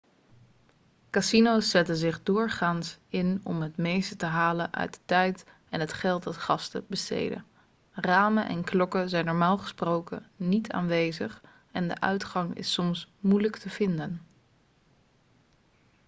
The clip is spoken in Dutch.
casino's zetten zich doorgaans in om het meeste te halen uit de tijd en het geld dat gasten besteden ramen en klokken zijn normaal gesproken niet aanwezig en de uitgang is soms moeilijk te vinden